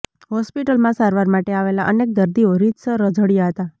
હોસ્પિટલમાં સારવાર માટે આવેલા અનેક દર્દીઓ રીતસર રઝળ્યા હતા